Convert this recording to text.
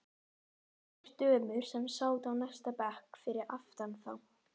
Tvær dömur sem sátu á næsta bekk fyrir aftan þá.